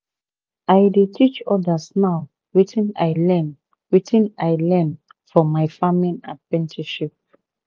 i dey teach others now wetin i learn wetin i learn for my farming apprenticeship